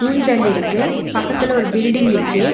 ஊஞ்சல் இருக்கு பக்கத்துல ஒரு பில்டிங் இருக்கு.